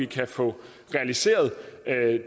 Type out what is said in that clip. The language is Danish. kan få realiseret